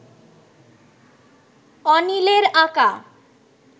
অনিলের আঁকা